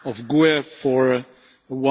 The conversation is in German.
Herr Präsident, Frau Kommissarin!